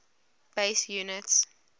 base units